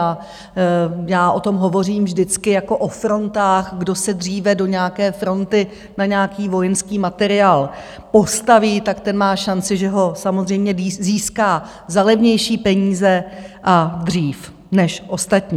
A já o tom hovořím vždycky jako o frontách, kdo se dříve do nějaké fronty na nějaký vojenský materiál postaví, tak ten má šanci, že ho samozřejmě získá za levnější peníze a dřív než ostatní.